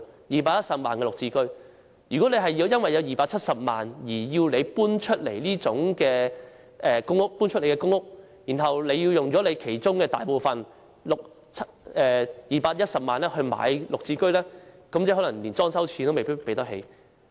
如果市民因為擁有270萬元而要搬離公屋，然後又要花大部分資產即210萬元購買"綠置居"，最後可能連裝修費用也負擔不起。